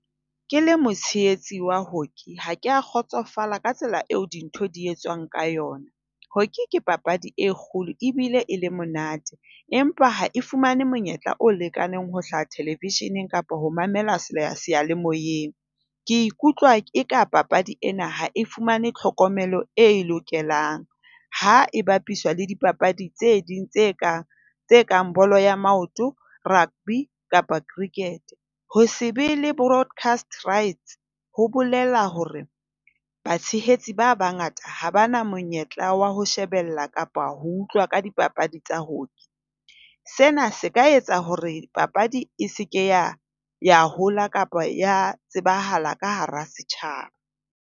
Ke le motshehetsi wa hockey, ha ke a kgotsofala ka tsela eo dintho di etswang ka yona. Hockey ke papadi e kgolo ebile e le monate, empa ha e fumane monyetla o lekaneng ho hlaha television-eng kapa ho mamelwa seyalemoyeng. Ke ikutlwa ke ka papadi ena ha e fumane tlhokomelo e e lokelang ha e bapiswa le dipapadi tse ding tse kang kang bolo ya maoto, rugby kapa cricket. Ho se be le broadcast rights ho bolela hore batshehetsi ba bangata ha ba na monyetla wa ho shebella kapa ho utlwa ka dipapadi tsa hockey. Sena se ka etsa hore papadi e se ke ya hola kapa ya tsebahala ka hara setjhaba.